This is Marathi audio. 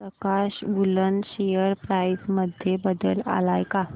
प्रकाश वूलन शेअर प्राइस मध्ये बदल आलाय का